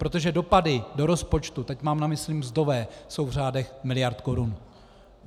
Protože dopady do rozpočtu, teď mám na mysli mzdové, jsou v řádech miliard korun.